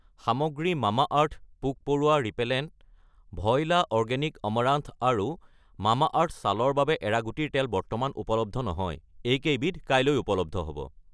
সামগ্ৰী মামাআৰ্থ পোক-পৰুৱা repellent , Voila organic amaranth আৰু মামাআৰ্থ ছালৰ বাবে এৰাগুটিৰ তেল বৰ্তমান উপলব্ধ নহয়, এইকেইবিধ কাইলৈ উপলব্ধ হ'ব।